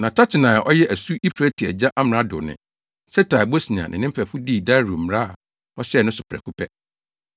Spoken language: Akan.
Na Tatenai a ɔyɛ asu Eufrate agya amrado ne Setar-Bosnai ne ne mfɛfo dii Dario mmara a ɔhyɛɛ no so prɛko pɛ.